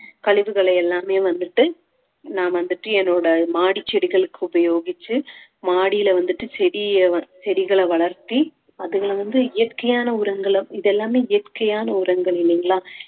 கழிவுகளை எல்லாமே வந்துட்டு நான் வந்துட்டு என்னோட மாடி செடிகளுக்கு உபயோகிச்சு மாடியில வந்துட்டு செடிய வ~ செடிகளை வளர்த்தி அதுகளை வந்து இயற்கையான உரங்களும் இதெல்லாமே இயற்கையான உரங்கள் இல்லைங்களா